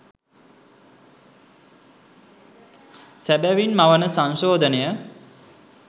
සැබවින් මවන සංශෝධනය